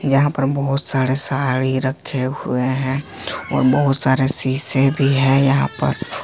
जहां पर बहोत सारे साड़ी रखे हुए हैं और बहुत सारे शीशे भी है यहां पर।